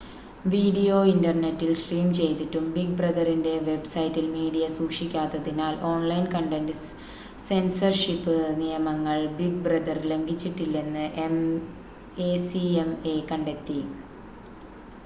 video ഇൻ്റർനെറ്റിൽ stream ചെയ്തിട്ടും Big ബ്രദറിൻ്റെ വെബ്സൈറ്റിൽ മീഡിയ സൂക്ഷിക്കാത്തതിനാൽ ഓൺലൈൻ കണ്ടൻ്റ് സെൻസർഷിപ് നിയമങ്ങൾ ബിഗ് ബ്രദർ ലംഘിച്ചിട്ടില്ലെന്ന് എസിഎംഎ കണ്ടെത്തി